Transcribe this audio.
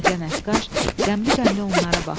Qoca nəqqaş qəmli-qəmli onlara baxdı.